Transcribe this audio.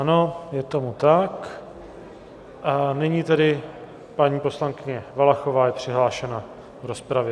Ano, je tomu tak, a nyní tedy paní poslankyně Valachová je přihlášena v rozpravě.